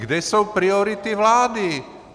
Kde jsou priority vlády?